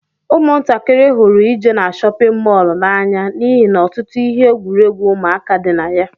Umuntakiri hụrụ ije n'shóppin mol na-anya n'ihi na ọtụtụ ihe egwuruegwu ụmụaka dị na ya.